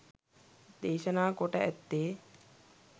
දේශනා කොට ඇත්තේ